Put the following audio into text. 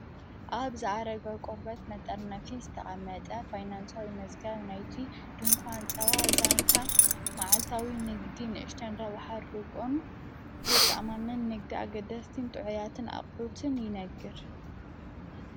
ኣብ ዝኣረገ ቆርበት መጠርናፊ ዝተቓመጥኣ ፋይናንሳዊ መጽጋ ናይቱ ድንኳ ን ጸዋ ዛንታ መዓልታዊ ንግዲ ንእሽተን ረብሓ ርቆን ዘተማመን ነግዲ ኣገደስቲን ጥዕያትን ኣቕሑትን ይነግር።